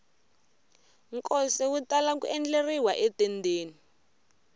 nkosi wu tala ku endleriwa etendeni